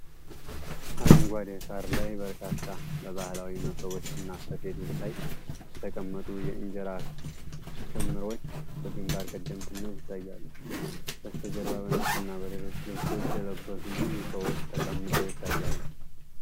አረንጓዴ ሳር ላይ በርካታ በባህላዊ መሶቦችና ሰፌዶች ላይ የተቀመጡ የእንጀራ ክምርዎች በግንባር ቀደምትነት ይታያሉ። በስተጀርባ በነጭ እና በሌሎች ልብሶች የለበሱ ብዙ ሰዎች ተቀምጠው ይታያሉ።